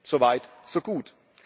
So weit, so gut.